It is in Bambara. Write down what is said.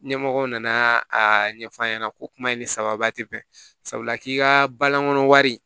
Ɲɛmɔgɔ nana a ɲɛfɔ a ɲɛna ko kuma in ni sababuba tɛ bɛn sabula k'i ka balankon wari